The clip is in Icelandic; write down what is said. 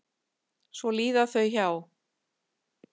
Svo líða þau hjá.